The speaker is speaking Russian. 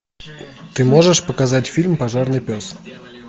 ты можешь показать фильм пожарный пес